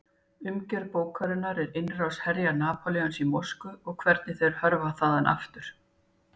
Umgjörð bókarinnar er innrás herja Napóleons í Moskvu og hvernig þeir hörfa þaðan aftur.